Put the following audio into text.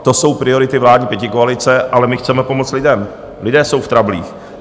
To jsou priority vládní pětikoalice, ale my chceme pomoct lidem, lidé jsou v trablích.